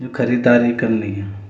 यु खरीदारी करन लाग्यां।